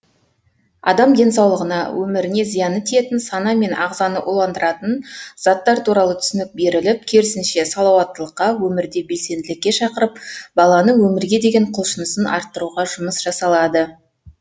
адам денсаулығына өміріне зияны тиетін сана мен ағзаны уландыратын заттар туралы түсінік беріліп керісінше салауаттылыққа өмірде белсенділікке шақырып баланың өмірге деген құлшынысын арттыруға жұмыс жасалады